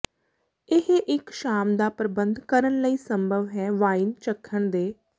ਇਹ ਇੱਕ ਸ਼ਾਮ ਦਾ ਪ੍ਰਬੰਧ ਕਰਨ ਲਈ ਸੰਭਵ ਹੈ ਵਾਈਨ ਚੱਖਣ ਦੇ